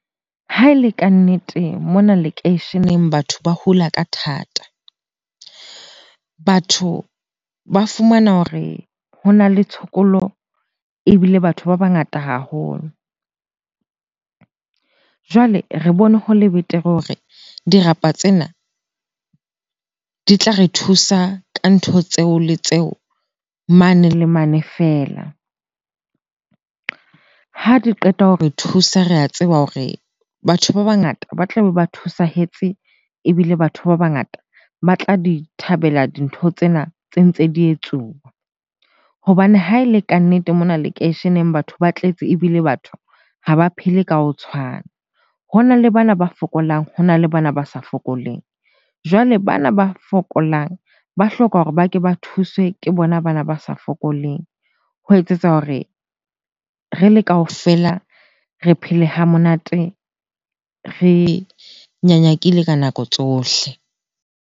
Ha e le kannete, mona lekeisheneng batho ba hula ka thata. Batho ba fumana hore ho na le tshokolo ebile batho ba bangata haholo. Jwale re bone ho le betere hore dirapa tsena di tla re thusa ka ntho tseo le tseo mane le mane feela. Ha di qeta hore thusa, re a tseba hore batho ba bangata ba tlabe ba thusehetse ebile batho ba bangata ba tla di thabela dintho tsena tse ntse di etsuwa. Hobane ha e le kannete mona lekeisheneng, batho ba tletse ebile batho ha ba phele ka ho tshwana. Ho na le bana ba fokolang, ho na le bana ba sa fokoleng. Jwale bana ba fokolang ba hloka hore ba ke ba thuswe ke bona bana ba sa fokoleng ho etsetsa hore re le kaofela re phele ha monate, re nyanyakile ka nako tsohle.